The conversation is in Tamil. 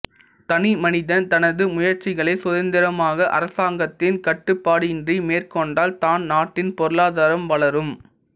தனி மனிதன் தனது முயற்சிகளை சுதந்திரமாக அரசாங்கத்தின் கட்டுப்பாடின்றி மேற்கொண்டால் தான் நாட்டின் பொருளாதரம் வளரும்